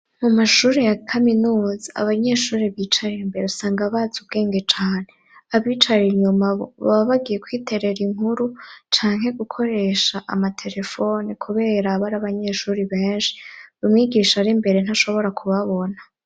Mu mashuri ya kaminuza, abanyeshuri bicaye imbere usanga bazi ubwenge cane, abicara inyuma bo baba bagiye kwiterera inkuru canke gukoresha amaterefone, kubera aba ari abanyeshuri benshi, umwigisha ari imbere, ntashobora kubabona.